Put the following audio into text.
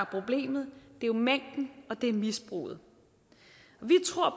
problemet det er jo mængden og det er misbruget